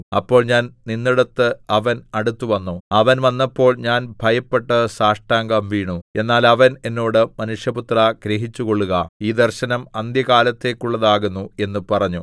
അപ്പോൾ ഞാൻ നിന്നിടത്ത് അവൻ അടുത്തുവന്നു അവൻ വന്നപ്പോൾ ഞാൻ ഭയപ്പെട്ട് സാഷ്ടാംഗം വീണു എന്നാൽ അവൻ എന്നോട് മനുഷ്യപുത്രാ ഗ്രഹിച്ചുകൊള്ളുക ഈ ദർശനം അന്ത്യകാലത്തേക്കുള്ളതാകുന്നു എന്ന് പറഞ്ഞു